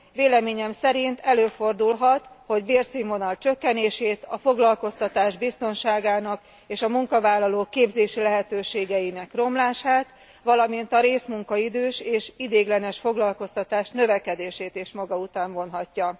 Véleményem szerint előfordulhat, hogy a bérszínvonal csökkenését, a foglalkoztatás biztonságának és a munkavállalók képzési lehetőségeinek romlását, valamint a részmunkaidős és ideiglenes foglalkoztatás növekedését is maga után vonhatja.